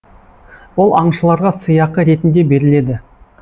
ол аңшыларға сыйақы ретінде беріледі